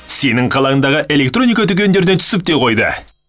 сенің қалаңдағы электроника дүкендерде түсіп те қойды